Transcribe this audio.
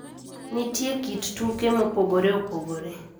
Nitie kit tuke mopogore opogore